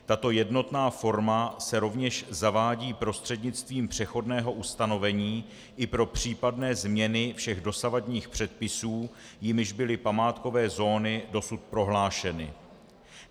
Tato jednotná forma se rovněž zavádí prostřednictvím přechodného ustanovení i pro případné změny všech dosavadních předpisů, jimiž byly památkové zóny dosud prohlášeny.